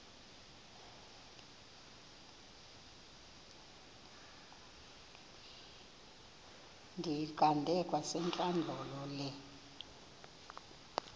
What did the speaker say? ndiyiqande kwasentlandlolo le